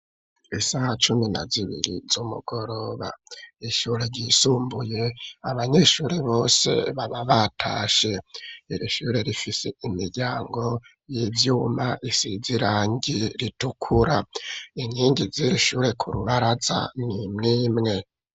Isaha cumi na zibiri z'umugoroba ishure ryisumbuye abanyeshuri bose baba batashe ,irishure rifise imiryango y'ivyuma isizirangi ritukura ,inkingi z'irishure kurubaraza nimwimwe.